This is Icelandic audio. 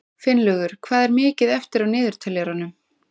Finnlaugur, hvað er mikið eftir af niðurteljaranum?